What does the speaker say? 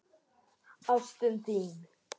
Ástin þín!